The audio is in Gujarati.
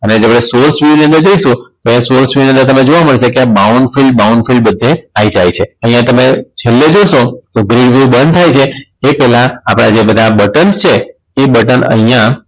અને તમે ની અંદર જઈશું તો Source view ની અંદર તમને જોવા મળશે કે આ Bowen Field Bowen Field બધે આઈ જાય છે અહીંયા તમે છેલ્લે જોશો તો બંધ થાય છે તે પેલા આપણા જે બધા બટન છે એ બટન અહીંયા